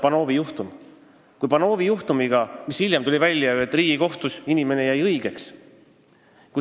Panovi juhtumi puhul tuli ju hiljem välja, et Riigikohtus jäi inimene õigeks.